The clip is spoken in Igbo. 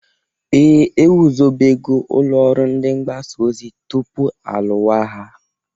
Ee! Egwuzobego ụlọ ọrụ ndị mgbasa ozi tupu alụwa agha.